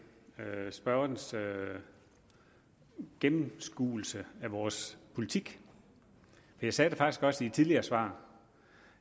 spørgernes gennemskuelse af vores politik jeg sagde det faktisk også i et tidligere svar